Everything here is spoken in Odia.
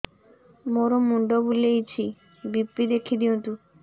ମୋର ମୁଣ୍ଡ ବୁଲେଛି ବି.ପି ଦେଖି ଦିଅନ୍ତୁ